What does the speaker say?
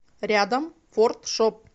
рядом фордшоп